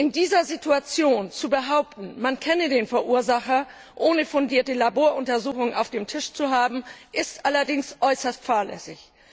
In dieser Situation zu behaupten, man kenne den Verursacher, ohne fundierte Laboruntersuchungen auf dem Tisch zu haben, ist allerdings äußerst fahrlässig.